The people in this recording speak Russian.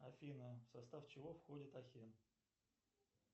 афина в состав чего входит ахен